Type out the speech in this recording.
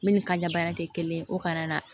Ne ni ka baara tɛ kelen ye o kalan na